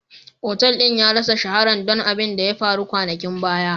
Otal din ya rassa shaharan don abin da ya faru kwanakin baya.